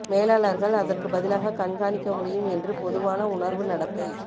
மேலாளர்கள் அதற்கு பதிலாக கண்காணிக்க முடியும் என்று பொதுவான உணர்வு நடத்தை